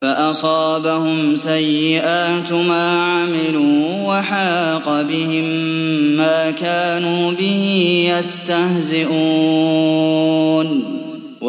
فَأَصَابَهُمْ سَيِّئَاتُ مَا عَمِلُوا وَحَاقَ بِهِم مَّا كَانُوا بِهِ يَسْتَهْزِئُونَ